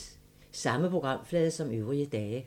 Samme programflade som øvrige dage